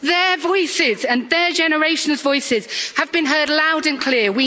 Their voices and their generation's voices have been heard loud and clear.